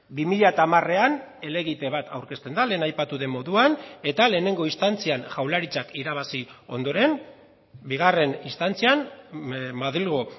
bi mila hamarean helegite bat aurkezten da lehen aipatu den moduan eta lehenengo instantzian jaurlaritzak irabazi ondoren bigarren instantzian madrilgo